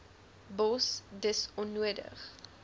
bos dis onnodig